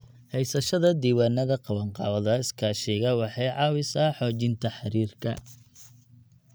Haysashada diiwaannada qabanqaabada iskaashiga waxay caawisaa xoojinta xiriirka.